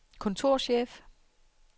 kontorchef